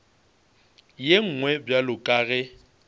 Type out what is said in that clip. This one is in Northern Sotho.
ye nngwe bjalo ka ge